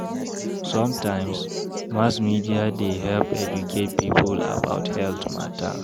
Sometimes, mass media dey help educate pipo about health mata.